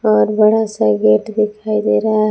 और बड़ा सा गेट दिखाई दे रहा है।